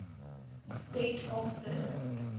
state of the